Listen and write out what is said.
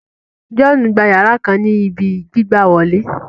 John gbà yara kan ní ibí gbigbawole